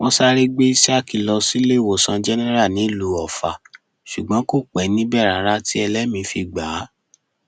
wọn sáré gbé isiaq lọ síléèwòsàn jẹnẹra nílùú ọfà ṣùgbọn kò pẹ níbẹ rárá tí ẹlẹmìín fi gbà á